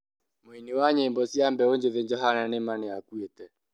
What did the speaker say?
Muini wa nyĩmbo cĩa mbeũ njithĩ Johanna nĩ ma nĩakuĩte